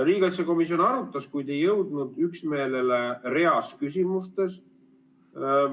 Riigikaitsekomisjon arutas, kuid ei jõudnud üksmeelele reas küsimustes.